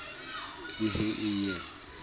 le he e ye e